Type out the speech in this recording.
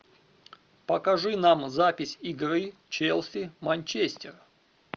покажи нам запись игры челси манчестер